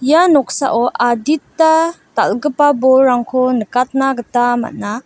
ia noksao adita dal·gipa bolrangko nikatna gita man·a.